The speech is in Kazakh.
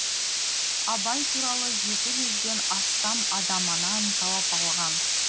абай туралы жеті жүзден астам адаманан жауап алған